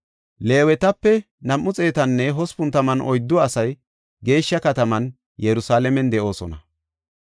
Leewetape 284 asay geeshsha kataman Yerusalaamen de7idosona.